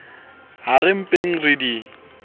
ha re mpeng re di